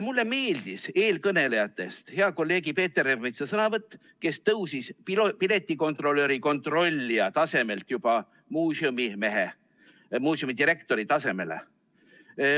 Mulle meeldis eelkõnelejatest hea kolleegi Peeter Ernitsa sõnavõtt, kes tõusis piletikontrolli kontrollija tasemelt juba muuseumidirektori tasemele.